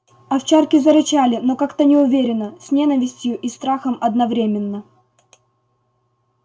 овчарки зарычали но как-то неуверенно с ненавистью и страхом одновременно